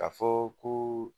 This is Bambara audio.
K'a fɔ ko